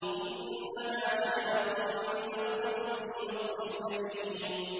إِنَّهَا شَجَرَةٌ تَخْرُجُ فِي أَصْلِ الْجَحِيمِ